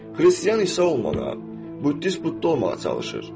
Xristian İsa olmağa, buddist Budda olmağa çalışır.